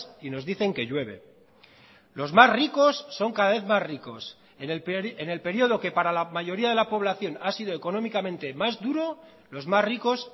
y nos dicen que llueve los más ricos son cada vez más ricos en el período que para la mayoría de la población ha sido económicamente más duro los más ricos